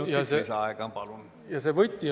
Kolm minutit lisaaega, palun!